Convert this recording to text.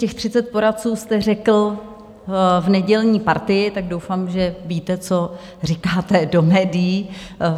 Těch 30 poradců jste řekl v nedělní Partii, tak doufám, že víte, co říkáte do médií.